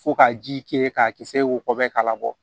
Fo ka ji kɛ k'a kisɛ wobɛ k'a labɔ